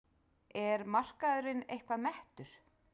Er markaðurinn eitthvað mettur?